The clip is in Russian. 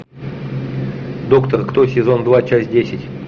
доктор кто сезон два часть десять